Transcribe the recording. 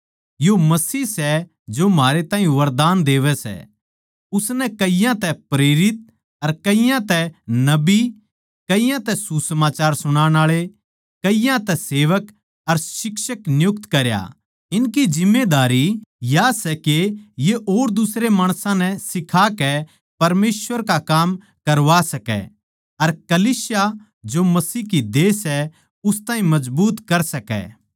यो मसीह सै जो म्हारे ताहीं वरदान देवै सै उसनै कईयाँ तै प्रेरित अर कईयाँ तै नबी कईयाँ तै सुसमाचार सुणान आळे कईयाँ तै सेवक अर शिक्षक नियुक्त करया इनकी जिम्मेदारी या सै के ये और दुसरे माणसां नै सिखा के परमेसवर का काम करवा सकै अर कलीसिया जो मसीह की देह सै उस ताहीं मजबूत कर सकै